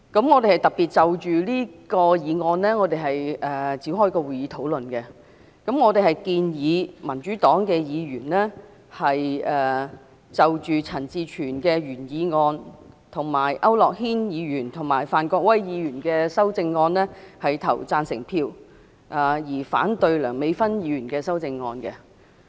我們特別就此議案展開討論，我們建議民主黨議員就陳志全議員的原議案，以及區諾軒議員和范國威議員的修正案投贊成票，而反對梁美芬議員的修正案。